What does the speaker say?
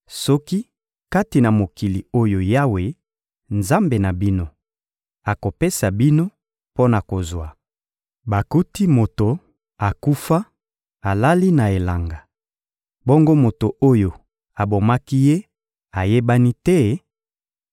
Soki kati na mokili oyo Yawe, Nzambe na bino, akopesa bino mpo na kozwa, bakuti moto akufa alali na elanga, bongo moto oyo abomaki ye ayebani te,